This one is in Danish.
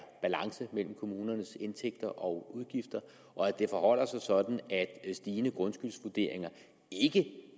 balance mellem kommunernes indtægter og udgifter og at det forholder sig sådan at stigende grundskyldsvurderinger ikke